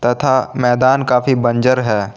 तथा मैदान काफी बंजर है।